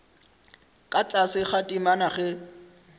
ka tlase ga temana ge